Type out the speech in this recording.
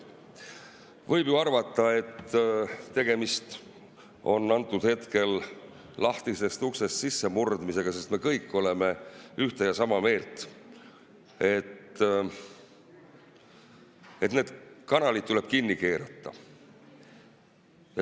Võib ju arvata, et tegemist on lahtisest uksest sissemurdmisega, sest me kõik oleme ühte ja sama meelt, et need kanalid tuleb kinni keerata.